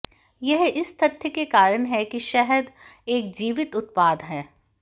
यह इस तथ्य के कारण है कि शहद एक जीवित उत्पाद है